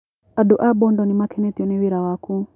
Andũ a Bondo nĩmakenetio nĩ wĩra waku.